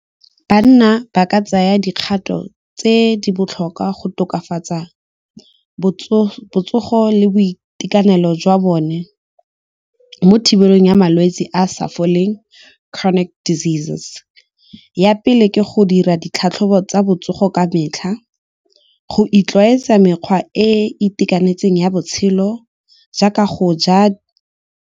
Banna ba ka tsaya dikgato tse di botlhokwa go tokafatsa botsogo le boitekanelo jwa bone mo thibelong ya malwetse a sa foleng chronic diseases. Ya pele ke go dira ditlhatlhobo tsa botsogo ka metlha, go itlwaetsa mekgwa e e itekanetseng ya botshelo jaaka go ja.